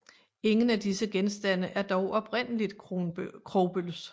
Ingen af disse genstande er dog oprindeligt Krogsbølles